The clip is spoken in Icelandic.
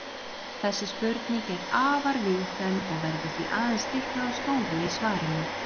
Þessi spurning er afar víðfeðm og verður því aðeins stiklað á stóru í svarinu.